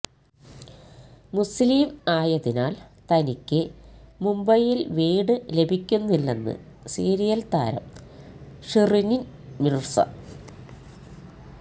മുസ്ലിം ആയതിനാല് തനിക്ക് മുംബൈയില് വീട് ലഭിക്കുന്നില്ലെന്ന് സീരിയല് താരം ഷിറീന് മിര്സ